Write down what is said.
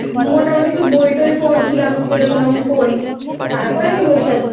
আমি মোটামুটি একটু বই টই পড়ছিলাম যে রকম আমি পড়ি